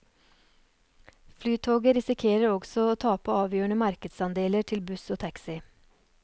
Flytoget risikerer også å tape avgjørende markedsandeler til buss og taxi.